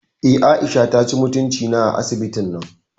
Eh, Aisha taci mutunci na a asibitin nan